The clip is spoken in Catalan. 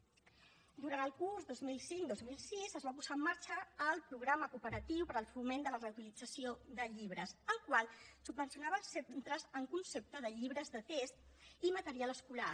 durant el curs dos mil cinc dos mil sis es va posar en marxa el programa cooperatiu per al foment de la reutilització de llibres el qual subvencionava els centres en concepte de llibres de text i material escolar